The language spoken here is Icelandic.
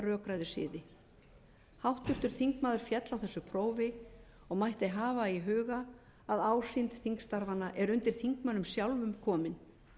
rökræðusiði háttvirtur þingmaður féll á þessu prófi og mætti hafa í huga að ásýnd þingstarfanna er undir þingmönnum sjálfum komin